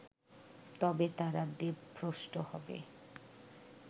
তবে তারা দেবভ্রষ্ট হবে